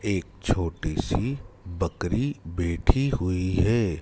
एक छोटी सी बकरी बैठी हुई है।